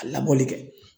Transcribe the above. A labɔli kɛ